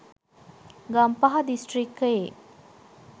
ගම්පහ දිස්‌ත්‍රික්‌කයේ